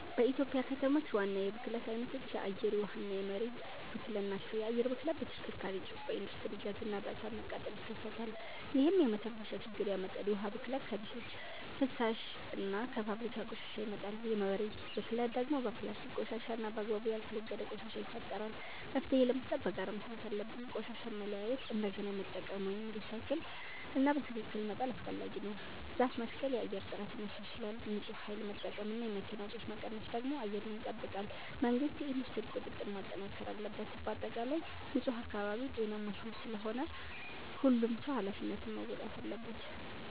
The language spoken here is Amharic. በኢትዮጵያ ከተሞች ዋና የብክለት አይነቶች የአየር፣ የውሃ እና የመሬት ብክለት ናቸው። የአየር ብክለት በተሽከርካሪ ጭስ፣ በኢንዱስትሪ ጋዝ እና በእሳት መቃጠል ይከሰታል፣ ይህም የመተንፈሻ ችግር ያመጣል። የውሃ ብክለት ከቤቶች ፍሳሽ እና ከፋብሪካ ቆሻሻ ይመጣል። የመሬት ብክለት ደግሞ በፕላስቲክ ቆሻሻ እና በአግባቡ ያልተወገደ ቆሻሻ ይፈጠራል። መፍትሄ ለመስጠት በጋራ መስራት አለብን። ቆሻሻን መለያየት፣ እንደገና መጠቀም (recycle) እና በትክክል መጣል አስፈላጊ ነው። ዛፍ መትከል የአየር ጥራትን ያሻሽላል። ንፁህ ኃይል መጠቀም እና የመኪና ጭስ መቀነስ ደግሞ አየርን ይጠብቃል። መንግሥት የኢንዱስትሪ ቁጥጥር ማጠናከር አለበት። በአጠቃላይ ንፁህ አካባቢ ጤናማ ሕይወት ስለሆነ ሁሉም ሰው ኃላፊነቱን መወጣት አለበት።